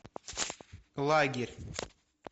лагерь